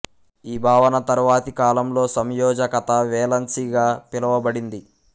ఈ భావన తరువాతి కాలంలో సంయోజకత వేలన్సీ గా పిలువబడింది